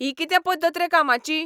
ही कितें पद्दत रे कामाची?